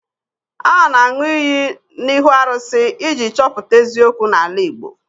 A na-aṅụ iyi n'ihu arụsị iji chọpụta eziokwu n'ala Igbo